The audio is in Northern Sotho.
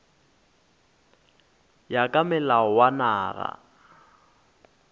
ya ka molao wa naga